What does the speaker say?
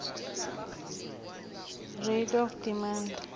rate of demand